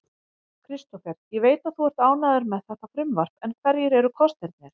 Kristófer, ég veit að þú ert ánægður með þetta frumvarp en hverjir eru kostirnir?